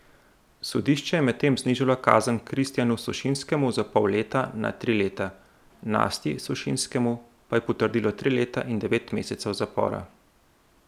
Sodišče je medtem znižalo kazen Kristjanu Sušinskemu za pol leta na tri leta, Nastji Sušinskemu pa je potrdilo tri leta in devet mesecev zapora.